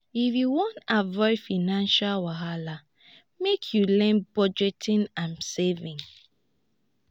if you wan avoid financial wahala lmake you learn budgeting and saving.